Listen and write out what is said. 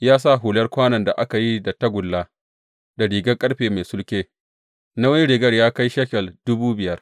Ya sa hular kwanon da aka yi da tagulla, da rigar ƙarfe mai sulke, nauyin rigar ya kai shekel dubu biyar.